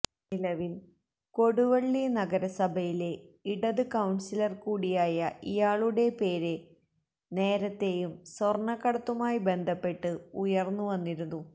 നിലവിൽ കൊടുവള്ളി നഗരസഭയിലെ ഇടത് കൌൺസിലർ കൂടിയായ ഇയാളുടെ പേര് നേരത്തേയും സ്വർണക്കടത്തുമായി ബന്ധപ്പെട്ട് ഉയർന്നു വന്നിരുന്നു